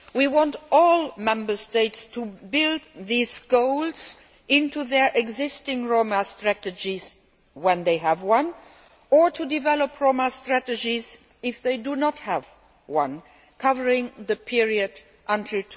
We want all Member States to build these goals into their existing Roma strategy, if they have one, or to develop a Roma strategy if they do not have one, for the period up to